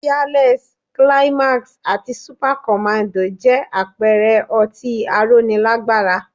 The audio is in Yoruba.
Fearless, climax àti Supacommando jẹ́ àpẹẹrẹ ọtí aróni lágbára